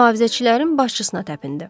Mühafizəçilərin başçısına təpindi.